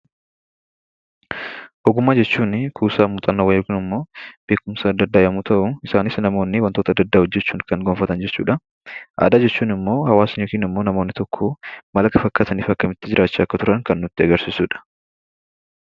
Ogummaa jechuunii kuusaa muuxannoo yokin immoo beekumsa adda addaa yommuu ta'uu isaanis namoonni wantoota adda addaa hojjechuun kan gonfatan jechuudhaa. Aadaa jechuun immoo hawaasni yookin immoo namoonni tokkoo maal akka fakkaataniifi akkamitti jiraachaa akka turan kan nutti agarsiisudha.